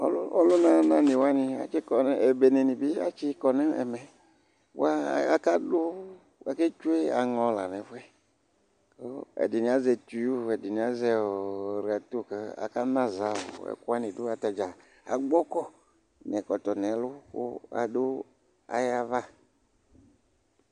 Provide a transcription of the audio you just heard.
ɔluna na ni wani atsi kɔ ebene atsi kɔ no ɛmɛ boa aka du ake tsue aŋɔ la n'ɛfu yɛ kò ɛdini azɛ tiyo ɛdini azɛ rato kò aka na za ɛkò wani do atadza agbɔ kɔ n'ɛkɔtɔ n'ɛlu kò adu ayi ava